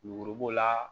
Lemuru b'o la